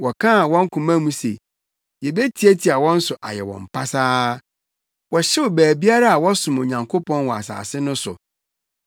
Wɔkaa wɔ wɔn koma mu se, “Yebetiatia wɔn so ayɛ wɔn pasaa!” Wɔhyew baabiara a wɔsom Onyankopɔn wɔ asase no so.